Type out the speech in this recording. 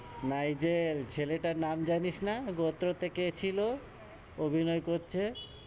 Nigel, ছেলেটার নাম জানিস্ না? গোত্রতে কে ছিল, অভিনয় করছে,